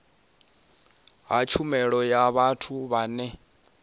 ha tshumelo ya vhathu vhane